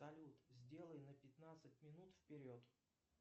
салют сделай на пятнадцать минут вперед